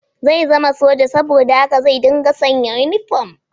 Zai zama soja, saboda haka zai dinga sanya inifom